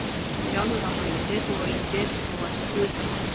Sjálfur var hann með derhúfu og lét derið snúa í suð vestur.